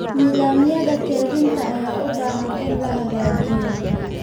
Nidaamyada kaydinta ayaa u baahan in la hagaajiyo.